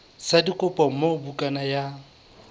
sa dikopo moo bukana ya